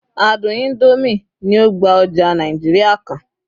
àádùn Indomie ni o gba oja Naijiria kan